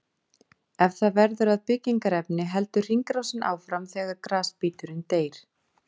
Ef það verður að byggingarefni heldur hringrásin áfram þegar grasbíturinn deyr.